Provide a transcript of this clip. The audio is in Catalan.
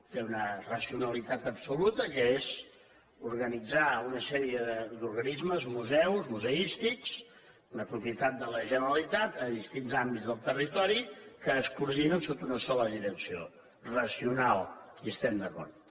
té una racionalitat absoluta que és organitzar una sèrie d’organismes museus museístics de propietat de la generalitat a distints àmbits del territori que es coordinen sota una sola direcció racional hi estem d’acord